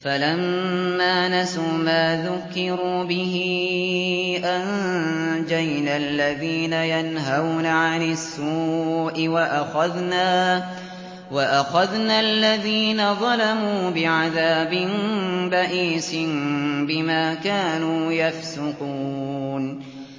فَلَمَّا نَسُوا مَا ذُكِّرُوا بِهِ أَنجَيْنَا الَّذِينَ يَنْهَوْنَ عَنِ السُّوءِ وَأَخَذْنَا الَّذِينَ ظَلَمُوا بِعَذَابٍ بَئِيسٍ بِمَا كَانُوا يَفْسُقُونَ